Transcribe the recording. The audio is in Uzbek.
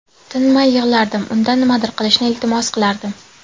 Tinmay yig‘lardim, undan nimadir qilishni iltimos qilardim.